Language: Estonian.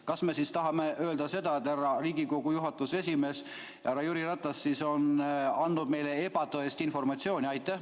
Kas me tahame öelda seda, et Riigikogu juhatuse esimees härra Jüri Ratas on andnud meile ebatõest informatsiooni?